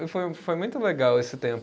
E foi foi muito legal esse tempo.